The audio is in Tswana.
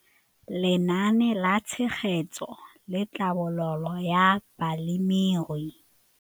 Lenaane la Tshegetso le Tlhabololo ya Balemirui.